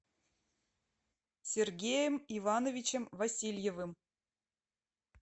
сергеем ивановичем васильевым